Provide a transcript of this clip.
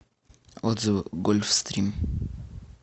отзывы гольфстрим